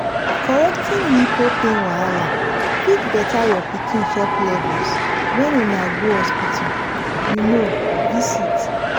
correcting nipple pain wahala fit better your pikin chop levels when una go hospital you know visit